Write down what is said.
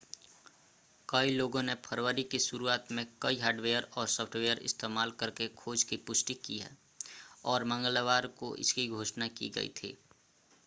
कई लोगों ने फरवरी की शुरुआत में कई हार्डवेयर और सॉफ़्टवेयर इस्तेमाल करके खोज की पुष्टि की है और मंगलवार को इसकी घोषणा की गई थी